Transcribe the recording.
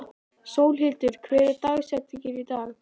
Sólhildur, hver er dagsetningin í dag?